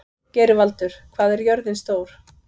Geirvaldur, hvað er jörðin stór?